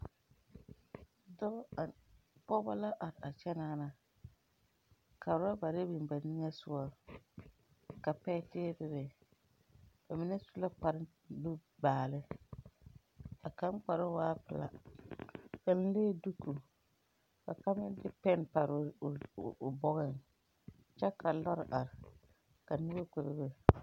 Dɔɔ are, Pɔgeba la are are kyɛ naa na. Ka worabare biŋ ba niŋe soɔ, ka pɛɛteɛ bebe. Ba mine su la kparre n nubaale. A kaŋ kparoo waa pelaa, ba meŋ lee duko, ka kaŋ m meŋ de pɛnpare o o o bɔgeŋ kyɛ ka lɔre are ka noba kpɛ bebe.